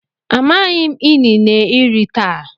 amaghim inine eri taa.